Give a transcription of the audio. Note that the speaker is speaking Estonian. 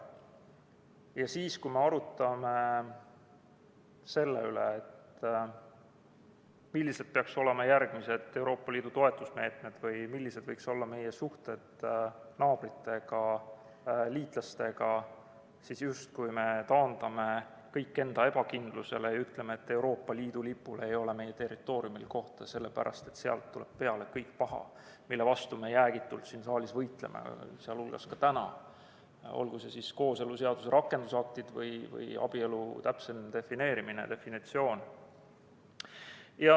Ja siis, kui me arutame selle üle, millised peaksid olema järgmised Euroopa Liidu toetusmeetmed või millised võiksid olla meie suhted naabritega, liitlastega, me justkui taandame kõik enda ebakindlusele ja ütleme, et Euroopa Liidu lipul ei ole meie territooriumil kohta, sest sealt tuleb kõik paha, mille vastu me jäägitult siin saalis võitleme, sealhulgas täna, olgu need siis kooseluseaduse rakendusaktid või abielu täpsem definitsioon.